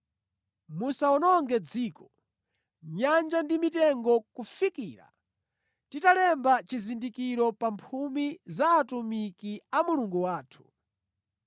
“Musawononge dziko, nyanja ndi mitengo kufikira titalemba chizindikiro pa mphumi za atumiki a Mulungu wathu.”